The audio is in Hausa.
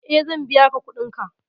E, zan biya ka kuɗinka.